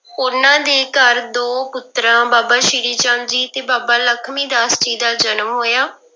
ਉਹਨਾਂ ਦੇ ਘਰ ਦੋ ਪੁੱਤਰਾਂ ਬਾਬਾ ਸ੍ਰੀ ਚੰਦ ਜੀ ਤੇ ਬਾਬਾ ਲਖਮੀ ਦਾਸ ਜੀ ਦਾ ਜਨਮ ਹੋਇਆ।